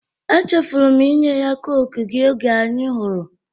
E chefụrụ m inye ya cọke gi oge anyi hụrụ